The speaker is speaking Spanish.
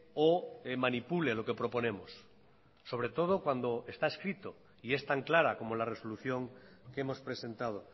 o manipule lo que proponemos sobre todo cuando está escrito y es tan clara como la resolución que hemos presentado